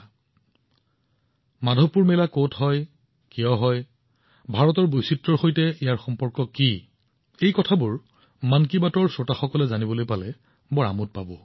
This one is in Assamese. মন কী বাতৰ শ্ৰোতাসকলে মাধৱপুৰ মেলা কত অনুষ্ঠিত হয় কিয় অনুষ্ঠিত হয় ই ভাৰতৰ বৈচিত্ৰ্যৰ সৈতে কেনেদৰে সম্পৰ্কিত সেয়া জানিবলৈ আকৰ্ষণ অনুভৱ কৰিব